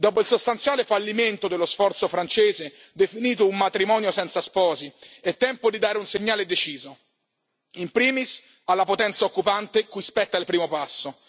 Dopo il sostanziale fallimento dello sforzo francese, definito un matrimonio senza sposi, è tempo di dare un segnale deciso, in primis alla potenza occupante, cui spetta il primo passo.